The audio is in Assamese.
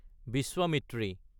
বিশ্বামিত্ৰী